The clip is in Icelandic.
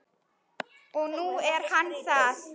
Og nú er hann það.